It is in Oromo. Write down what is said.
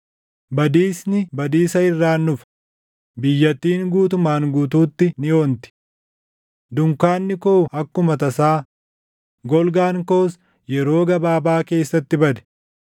Badiisni badiisa irraan dhufa; biyyattiin guutumaan guutuutti ni onti. Dunkaanni koo akkuma tasaa, golgaan koos yeroo gabaabaa keessatti bade.